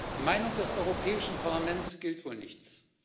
Die Meinung des Europäischen Parlaments gilt wohl nichts.